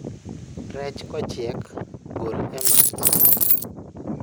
Rech kochiek, gol e mach